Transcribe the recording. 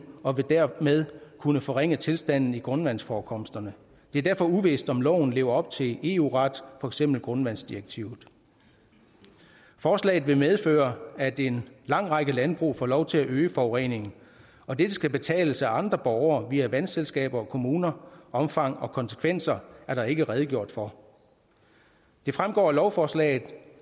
og vil dermed kunne forringe tilstanden i grundvandsforekomsterne det er derfor uvist om loven lever op til eu retten for eksempel grundvandsdirektivet forslaget vil medføre at en lang række landbrug får lov til at øge forureningen og det skal betales af andre borgere via vandselskaber og kommuner og omfang og konsekvenser er der ikke redegjort for det fremgår af lovforslaget